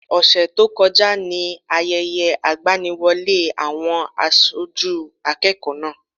Ọ̀sẹ̀ tó kọjá ni Ayẹyẹ ìgbaniwọlé àwọn aṣojú akẹ́kọ̀ọ́ náà.